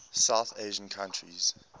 south asian countries